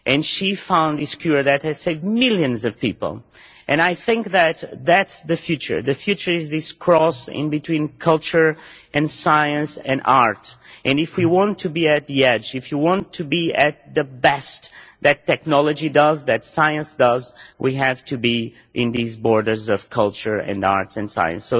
She found this cure that has saved millions of people and I think that that is the future the future is this cross between culture and science and art. If we want to be at the edge, if we want to be at the best that technology does, that science does, we have to be at these borders of culture and arts and science.